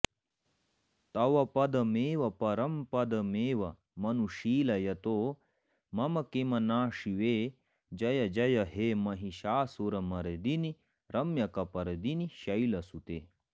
तव पदमेव परंपदमेवमनुशीलयतो मम किं न शिवे जय जय हे महिषासुरमर्दिनि रम्यकपर्दिनि शैलसुते